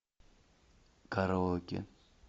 караоке